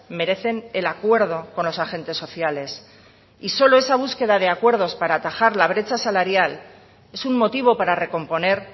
merecen el acuerdo con los agentes sociales y solo esa búsqueda de acuerdos para atajar la brecha salarial es un motivo para recomponer